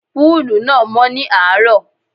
Púùlù náà mọ́ ní àárọ̀.